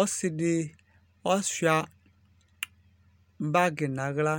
ɔsɩɗɩ azɛ golo nʊ ahla